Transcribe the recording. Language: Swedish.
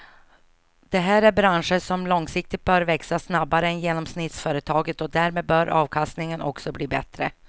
Det här är branscher som långsiktigt bör växa snabbare än genomsnittsföretaget och därmed bör avkastningen också bli bättre.